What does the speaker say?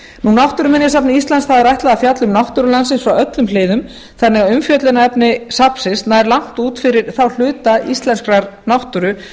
náttúruminjasafni íslands er ætlað að fjalla um náttúru landsins frá öllum hliðum þannig að umfjöllunarefni safnsins nær langt út fyrir þá hluta íslenskrar náttúru